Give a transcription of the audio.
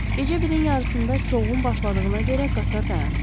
Gecə birin yarısında çoxğun başladığına görə qatar dayanıb.